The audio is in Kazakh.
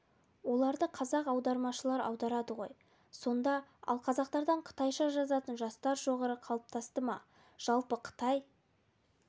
оларды қазақ аудармашылар аударады ғой сонда ал қазақтардан қытайша жазатын жастар шоғыры қалыптасты ма жалпы қытай